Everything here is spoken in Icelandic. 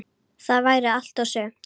Það væri allt og sumt.